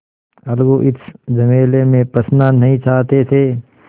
अलगू इस झमेले में फँसना नहीं चाहते थे